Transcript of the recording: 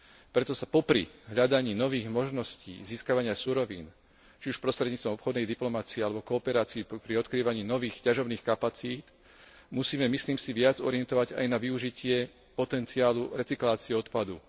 Preto sa popri hľadaní nových možností získavania surovín, či už prostredníctvom obchodnej diplomacie alebo kooperácie pri odkrývaní nových ťažobných kapacít, musíme, myslím si, viac orientovať aj na využitie potenciálu recyklácie odpadu.